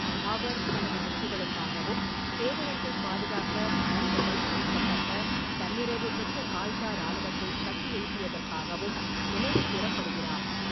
அவர் தனது வெற்றிகளுக்காகவும், பேரரசைப் பாதுகாக்க நன்கு பயிற்றுவிக்கப்பட்ட, தன்னிறைவு பெற்ற கால்சா இராணுவத்தை கட்டியெழுப்பியதற்காகவும் நினைவுகூரப்படுகிறார்.